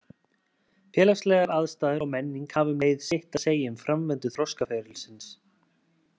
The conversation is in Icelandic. Félagslegar aðstæður og menning hafa um leið sitt að segja um framvindu þroskaferilsins.